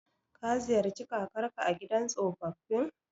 Ka ziyarci kakarka a gidan tsofaffin?